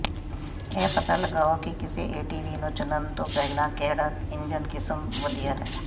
ਇਹ ਪਤਾ ਲਗਾਓ ਕਿ ਕਿਸੇ ਏਟੀਵੀ ਨੂੰ ਚੁਣਨ ਤੋਂ ਪਹਿਲਾਂ ਕਿਹੜਾ ਇੰਜਨ ਕਿਸਮ ਵਧੀਆ ਹੈ